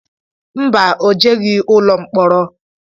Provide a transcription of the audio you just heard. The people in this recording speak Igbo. Mba, o jeghi ụlọ mkpọrọ